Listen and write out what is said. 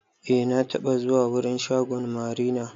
Eh na taɓa zuwa wurin shagon marina.